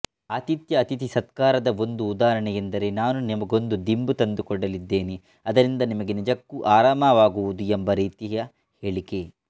ಆತಿಥ್ಯಅತಿಥಿ ಸತ್ಕಾರದ ಒಂದು ಉದಾಹರಣೆಯೆಂದರೆ ನಾನು ನಿಮಗೊಂದು ದಿಂಬು ತಂದುಕೊಡಲಿದ್ದೇನೆ ಅದರಿಂದ ನಿಮಗೆ ನಿಜಕ್ಕೂ ಆರಾಮವಾಗುವುದು ಎಂಬ ರೀತಿಯ ಹೇಳಿಕೆ